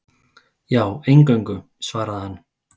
Já, eingöngu, svaraði hann.